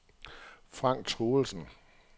Frank Truelsen